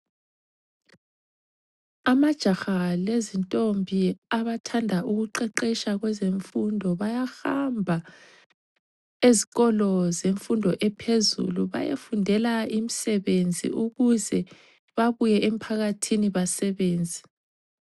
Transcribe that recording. Amajaha lezintombi abathanda ukuqeqetsha kwezemfundo, bayahamba ezikolo zemfundo ephezulu bayefundela imsebenzi ukuze bebuye emphakathini basebenze.